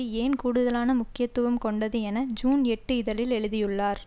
ஏன் கூடுதலான முக்கியத்துவம் கொண்டது என்று ஜூன் எட்டுஇதழில் எழுதியுள்ளார்